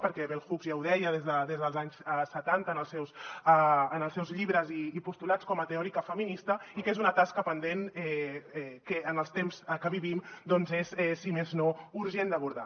perquè bell hooks ja ho deia des dels anys setanta en els seus llibres i postulats com a teòrica feminista i que és una tasca pendent que en els temps que vivim doncs és si més no urgent d’abordar